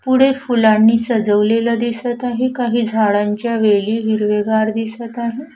पुढे फुलांनी सजवलेलं दिसत आहे काही झाडांच्या वेली हिरवेगार दिसत आहे.